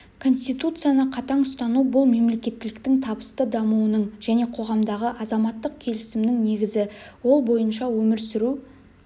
конституцияны қатаң ұстану бұл мемлекеттіліктің табысты дамуының және қоғамдағы азаматтық келісімнің негізі ол бойынша өмір сүру